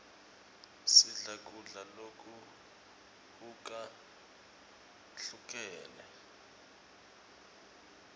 sidle kudla lokuhukahlukene